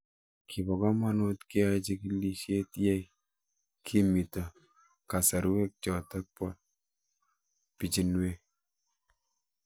Kipo kamanut keyae chig'ilet ye kimito kasarwek chotok po pichinwek